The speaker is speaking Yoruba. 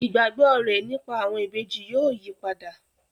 Ìgbàgbọ́ rẹ̀ nípa àwọn ìbejì yóò yípadà